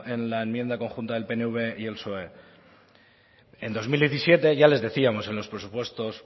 en la enmienda conjunta del pnv y el psoe en dos mil diecisiete ya les decíamos en los presupuestos